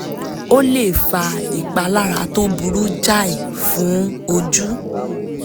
ó lè fa ìpalára tó burú jáì fún ojú